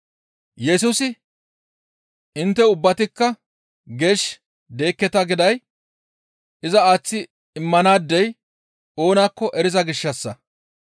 Yesusi, «Intte ubbatikka geesh deekketa» giday iza aaththi immanaadey oonakko eriza gishshassa.